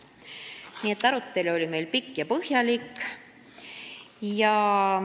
Nii et arutelu oli meil pikk ja põhjalik.